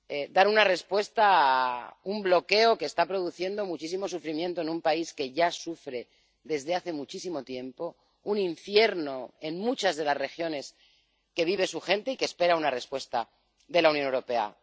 Dar una respuesta a un bloqueo que está produciendo muchísimo sufrimiento en un país que ya sufre desde hace muchísimo tiempo un infierno en muchas de sus regiones y que espera una respuesta de la Unión Europea.